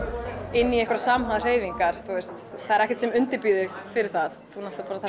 inn í einhverjar samhæfðar hreyfingar það er ekkert sem undirbýr þig fyrir það þú náttúrulega